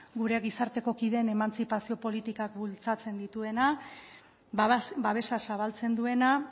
gure gizarteko kideen emantzipazio politikak bultzatzen dituena babesa zabaltzen duena